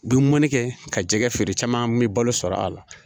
Bi munni kɛ ka jɛgɛ feere caman bɛ balo sɔrɔ a la